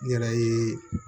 N yɛrɛ ye